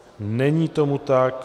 Není tomu tak.